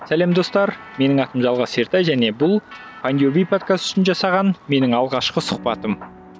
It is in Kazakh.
сәлем достар менің атым жалғас ертай және бұл файндюрби подкасты үшін жасаған менің алғашқы сұхбатым